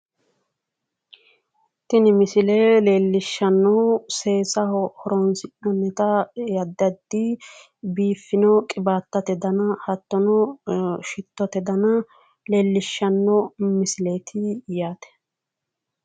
Tini misile leellishshannohu seessaho horonsi'nannita addi addi biifino qiwaatete dana hattono shittote dana leellishshanno misileeti yaate.